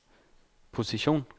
position